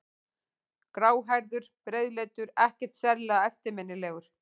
Gráhærður, breiðleitur, ekkert sérlega eftirminnilegur.